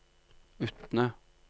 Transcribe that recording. Utne